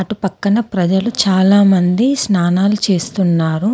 అటుపక్కన ప్రజలు చాలామంది స్నానాలు చేస్తున్నారు.